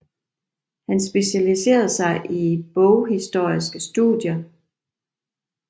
Han specialiserede sig i boghistoriske studier